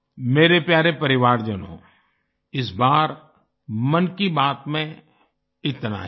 मेरे प्यारे परिवारजनों इस बार मन की बात में इतना ही